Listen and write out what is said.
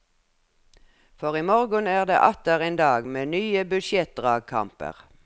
For i morgen er det atter en dag med nye budsjettdragkamper.